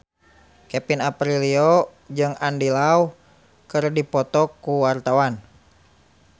Kevin Aprilio jeung Andy Lau keur dipoto ku wartawan